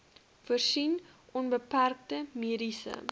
voorsien onbeperkte mediese